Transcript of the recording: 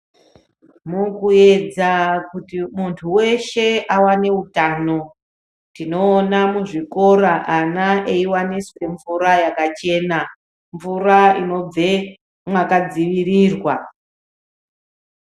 Mukuedza kuti muntu weshe, awane utano, tinoona muzvikora ana eiwaniswe mvura yakachena, mvura inobve mwakadziirirwa.